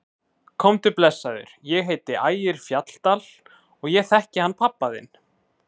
Komdu blessaður, ég heiti Ægir Fjalldal og ég þekki hann pabba þinn!